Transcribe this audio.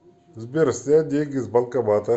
сбер снять деньги с банкомата